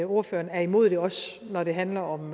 ordføreren er imod det også når det handler om